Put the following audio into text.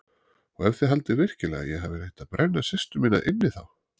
Og ef þið haldið virkilega að ég hafi reynt að brenna systur mína inni þá.